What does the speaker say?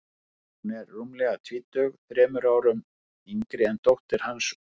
Hún var rúmlega tvítug, þremur árum yngri en dóttir hans, og